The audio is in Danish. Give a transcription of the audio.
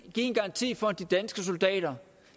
give en garanti for at de danske soldater